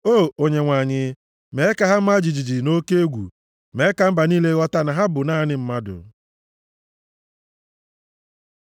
O Onyenwe anyị! Mee ka ha maa jijiji nʼoke egwu; mee ka mba niile ghọta na ha bụ naanị mmadụ. Sela